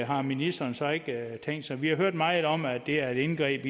har ministeren så ikke tænkt sig vi har hørt meget om at det er et indgreb